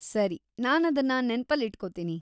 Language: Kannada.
ಸರಿ, ನಾನದ್ನ ನೆನ್ಪಲ್ಲಿಟ್ಕೊತೀನಿ.